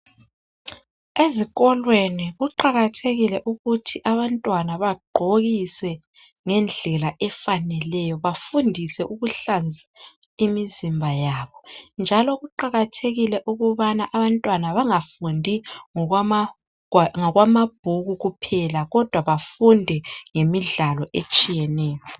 Ezikolweni kuqakathekile ukuthi abantwana bagqokiswe ngendlela efaneleyo bafundiswe ukuhlanzeka imizimba yabo njalo kuqakathekile ukubana abantwana bangafundi ngokwamabhuku kuphela kodwa bafunde ngokwemidlalo etshiyeneyo.